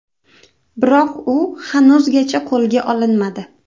Biroq u hanuzgacha qo‘lga olinmadi.